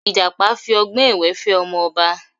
Ìjàpá fi ọgbọ́n èwé fẹ́ ọmọ ọba